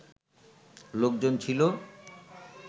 লোকজন ছিল